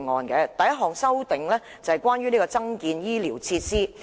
第一項修正是關於增建醫療設施的。